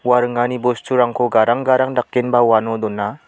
ua ringani bosturangko gadang gadang dakenba uano dona.